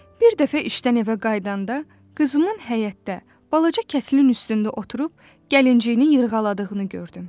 Bir dəfə işdən evə qayıdanda qızımın həyətdə balaca kətilin üstündə oturub gəlinciyini yırğaladığını gördüm.